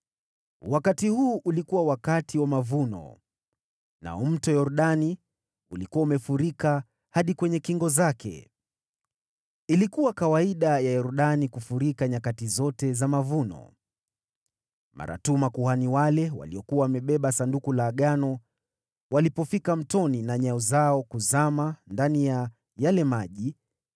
Wakati huu ulikuwa wakati wa mavuno, nao Mto Yordani ulikuwa umefurika hadi kwenye kingo zake. Ilikuwa kawaida ya Yordani kufurika nyakati zote za mavuno. Mara tu makuhani wale waliokuwa wamebeba Sanduku la Agano walipofika mtoni na nyayo zao kuzama ndani ya yale maji,